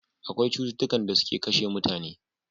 Akwai cututtukan da suke kashe mutane